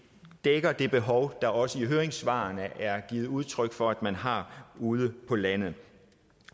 dækker det behov der også i høringssvarene er givet udtryk for at man har ude på landet